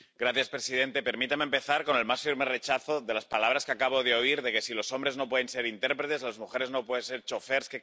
Señor presidente, permítame empezar con el más firme rechazo de las palabras que acabo de oír de que si los hombres no pueden ser intérpretes las mujeres no pueden ser chóferes.